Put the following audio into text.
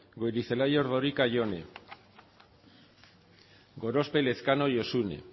goirizelaia ordorika jone gorospe elezkano josune